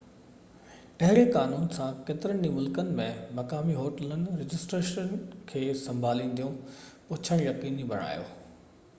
اهڙي قانون سان ڪيترن ئي ملڪن ۾، مقامي هوٽلون رجسٽريشن کي سنڀالينديون پڇڻ يقيني بڻايو